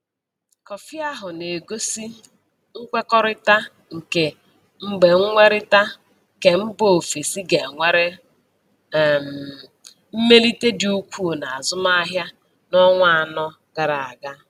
Kọfị ahụ na-egosi nkwekọrịta nke Mgbenwerita Kembaofesi ga nwere um mmelite dị ukwu n'azụmahịa n'ọnwa anọ gara aga.